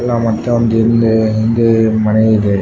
ಅಲ್ಲ ಮತ್ತೆ ಒಂದು ಹಿಂದೆ ಹಿಂದೆ ಮನೆ ಇದೆ .